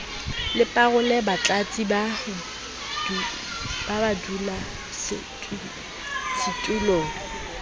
le parole batlatsi ba badulasetulo